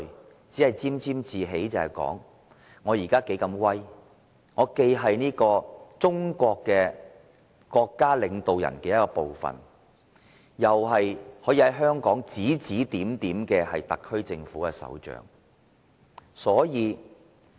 他只顧沾沾自喜，想着自己現在有多威風，既是中國國家領導人之一，又是在香港指指點點的特區政府首長。